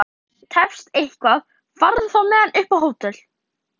Ef ég tefst eitthvað farðu þá með hann upp á hótel!